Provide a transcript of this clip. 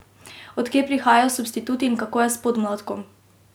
Od kje prihajajo substituti in kako je s podmladkom?